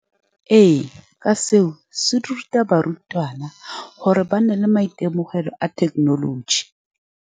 Ee, ka seo se ruta barutwana, gore ba nne le maitemogelo a thekenoloji.